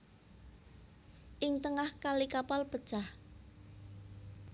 Ing tengah kali kapal pecah